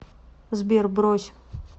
сбер брось